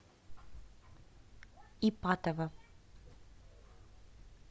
ипатово